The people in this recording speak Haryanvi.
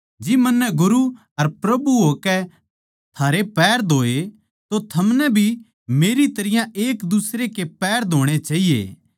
जिब मन्नै गुरू अर प्रभु होकै थारै पैर धोए तो थमनै भी मेरी तरियां एकदुसरै के पैर धोणे चाहिये